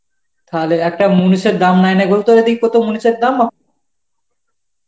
থালে একটা মুনিষের দাম নাই না তোর ওদিক কত মুনিষের দাম এখন?